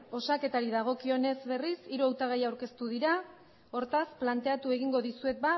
osaketari dagokionez berriz hiru hautagai aurkeztu dira hortaz planteatu egingo dizuet